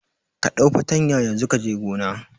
Ka ɗau fartanya yanzu kaje gona